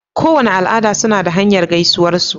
Kowace al'ada suna da hanya gaisuwar su